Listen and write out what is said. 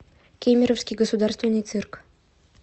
кемеровский государственный цирк